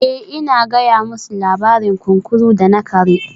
Eh ina gaya musu labarin kunkuru da na kare